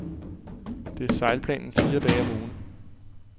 Det er sejlplanen fire dage om ugen.